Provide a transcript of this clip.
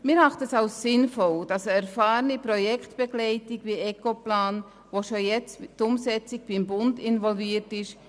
Wir erachten es als sinnvoll, dass eine erfahrene Projektleitung wie Ecoplan beigezogen wird, die bereits in die Umsetzung beim Bund involviert ist.